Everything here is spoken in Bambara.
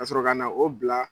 Ka sɔrɔ ka na o bila.